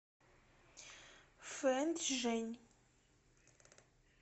фэнчжэнь